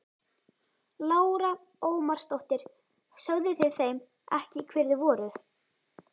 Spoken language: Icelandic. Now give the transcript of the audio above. Lára Ómarsdóttir: Sögðuð þið þeim ekki hver þið voruð?